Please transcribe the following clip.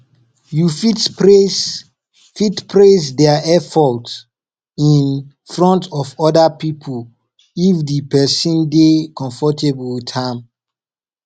you fit praise fit praise their effort in front of oda pipo if di person dey comfortable with am